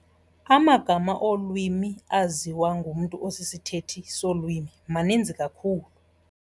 Amagama olwimi aziwa ngumntu osisithethi solwimi maninzi kakhulu.